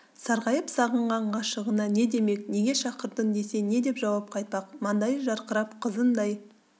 сарғайып сағынған ғашығына не демек неге шақырдың десе не деп жауап қайтпақ маңдайы жарқырап қызындай